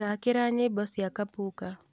thaakĩra nyĩmbo cia kapuka